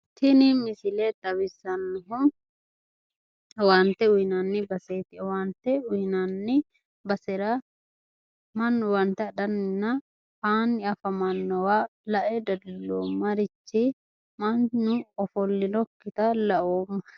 tini misile xawissannohu owaante uyinanni baseeti. owaante uyinanni basera mannu owaante adhanninna aanni afamannowa lae dadilloommarichi mannu ofollinookkita laooma.